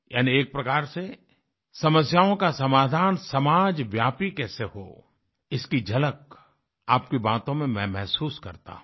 यानी एक प्रकार से समस्याओं का समाधान समाजव्यापी कैसे हो इसकी झलक आपकी बातों में मैं महसूस करता हूँ